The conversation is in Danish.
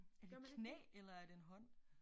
Er det et knæ eller er det en hånd